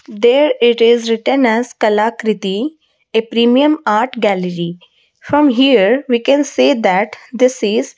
there it is written as kalakriti a premium art gallery from here we can see that this is--